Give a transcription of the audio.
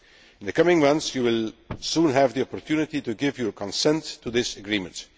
In the coming months you will soon have the opportunity to give your consent to this agreement.